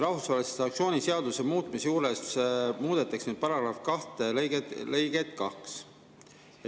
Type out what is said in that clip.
Rahvusvahelise sanktsiooni seaduse muutmisel muudetakse § 2 lõiget 2.